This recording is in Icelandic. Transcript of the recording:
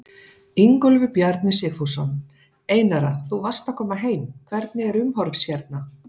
Ingólfur Bjarni Sigfússon: Einara þú varst að koma heim, hvernig er umhorfs hérna?